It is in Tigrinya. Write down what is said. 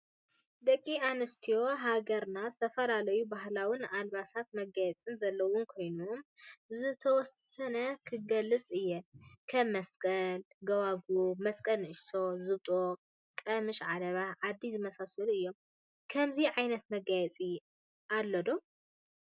ደቂ አነሰትዮ ሃገርና ዝተፈላለዮ ባህላዊ ን አልባሳትን መጋየፅታት ዘለወን ኮይኑካበኡ ዝተወሰነ ኽገልፅ አየ ከም መሰቀል ፣ጎባግብ ፣መመሰቀል ንእሸተይ ዝብጦን ቀመሽ ዓለባ ዓዲ ዝመሳሰሉ እዮም ።ከምዚ ዓይነት መጋየፂ አለዶ?